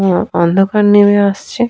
অ্যা অন্ধকার নেমে আসছে ।